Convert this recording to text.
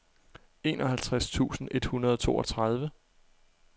enoghalvtreds tusind et hundrede og toogtredive